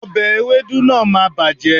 òbe ewédú náà máà bàjẹ́